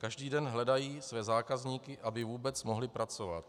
Každý den hledají své zákazníky, aby vůbec mohli pracovat.